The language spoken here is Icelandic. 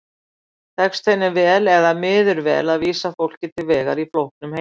Tekst henni vel eða miður vel að vísa fólki til vegar í flóknum heimi?